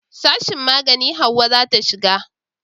sashin magani Hauwa za ta shiga